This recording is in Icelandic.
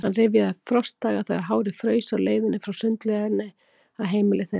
Hann rifjaði upp frostdaga, þegar hárið fraus á leiðinni frá sundlauginni að heimili þeirra.